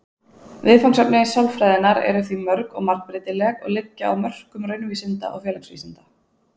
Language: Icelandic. Viðfangsefni sálfræðinnar eru því mörg og margbreytileg og liggja á mörkum raunvísinda og félagsvísinda.